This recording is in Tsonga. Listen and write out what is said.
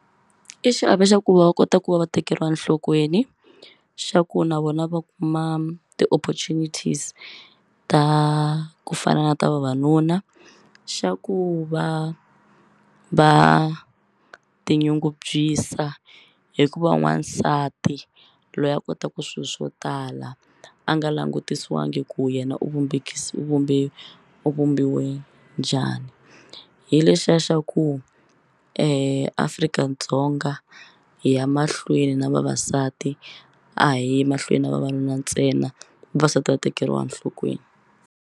I xiave xa ku va va kota ku va va tekeriwa enhlokweni xa ku na vona va kuma ti-opportunities ta ku fana na ta vavanuna xa ku va va tinyungubyisa hi ku va n'wansati loyi a kotaka swilo swo tala a nga langutisiwangi ku yena u u vumbe u vumbiwe njhani hi lexiya xa ku Afrika-Dzonga hi ya mahlweni na vavasati a hi yi mahlweni na vavanuna ntsena vavasati va tekeriwa enhlokweni.